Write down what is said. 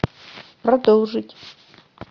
продолжить